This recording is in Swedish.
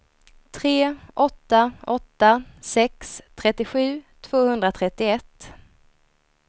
tre åtta åtta sex trettiosju tvåhundratrettioett